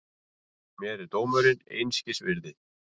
Mér er dómurinn einskis virði.